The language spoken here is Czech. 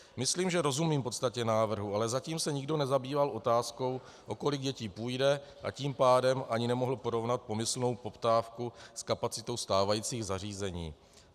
Myslím, že rozumím podstatě návrhu, ale zatím se nikdo nezabýval otázkou, o kolik dětí půjde, a tím pádem ani nemohl porovnat pomyslnou poptávku s kapacitou stávajících zařízení.